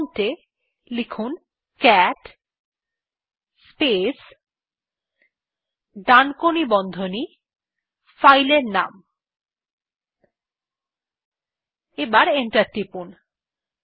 prompt এ cat space ডানকোনি বন্ধনী স্পেস ফাইলের নাম লিখে এন্টার টিপুন